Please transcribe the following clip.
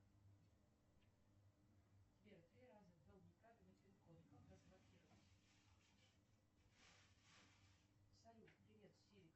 сбер три раза ввел неправильный пин код как разблокировать салют привет сири